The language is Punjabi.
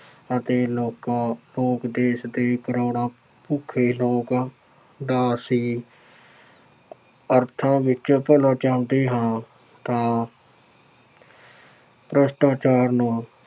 ਅਤੇ ਲੋਕਾਂ ਤੋਂ ਦੇਸ਼ ਦੇ ਕਰੋੜਾਂ ਭੁੱਖੇ ਲੋਕ ਦਾ ਸੀ। ਅਰਥਾਂ ਵਿੱਚ ਚੱਲੋ ਚੱਲਦੇ ਹਾਂ ਤਾਂ ਭ੍ਰਿਸ਼ਟਾਚਾਰ ਨੂੰ